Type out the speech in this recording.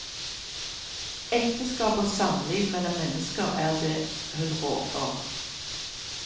Ekteskap og samliv mellom mennesker er det hun rår for.